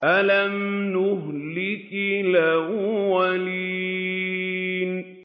أَلَمْ نُهْلِكِ الْأَوَّلِينَ